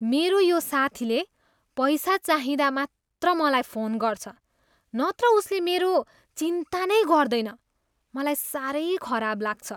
मेरो यो साथीले पैसा चाहिँदा मात्र मलाई फोन गर्छ नत्र उसले मेरो चिन्ता नै गर्दैन, मलाई साह्रै खराब लाग्छ।